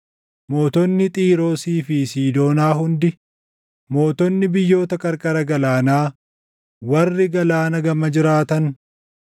mootonni Xiiroosii fi Siidoonaa hundi, mootonni biyyoota qarqara galaanaa warri galaana gama jiraatan,